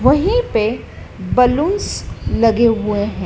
वहीं पे बलूंस लगे हुए है।